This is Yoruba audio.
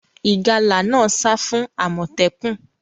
Ìgalà náà sa fún àmòtẹ́kùn